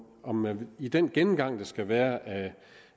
om man i den gennemgang der skal være